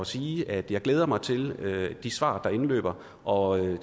sige at jeg glæder mig til de svar der indløber og